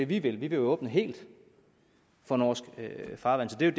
vi vil vi vil åbne helt for norsk farvand det er